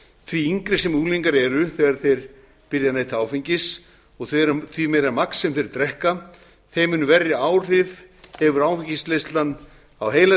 því yngri sem unglingar eru þegar þeir byrja að neyta áfengis og því meira magn sem þeir drekka þeim mun verri áhrif hefur áfengisneyslan á heila